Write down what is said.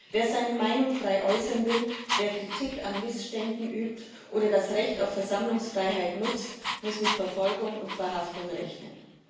Wer seine Meinung frei äußern will, wer Kritik an Missständen übt oder das Recht auf Versammlungsfreiheit nutzt, muss mit Verfolgung und Verhaftung rechnen.